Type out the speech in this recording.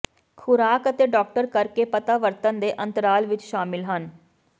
ਖੁਰਾਕ ਅਤੇ ਡਾਕਟਰ ਕਰਕੇ ਪਤਾ ਵਰਤਣ ਦੇ ਅੰਤਰਾਲ ਵਿੱਚ ਸ਼ਾਮਲ ਹਨ